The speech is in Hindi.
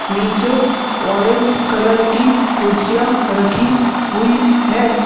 नीचे ऑरेंज कलर की कुर्सियां रखी हुई है।